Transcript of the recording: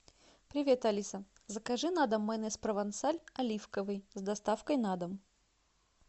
привет алиса закажи на дом майонез провансаль оливковый с доставкой на дом